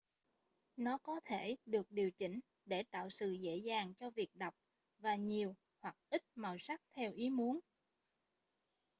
nó có thể được điều chỉnh để tạo sự dễ dàng cho việc đọc và nhiều hoặc ít màu sắc theo ý muốn